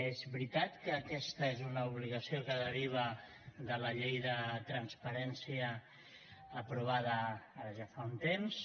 és veritat que aquesta és una obligació que deriva de la llei de transparència aprovada ara ja fa un temps